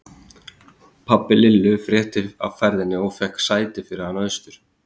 Pabbi Lillu frétti af ferðinni og fékk sæti fyrir hana austur.